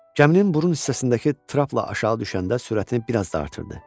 Gəminin burun hissəsindəki trapla aşağı düşəndə sürətini biraz da artırdı.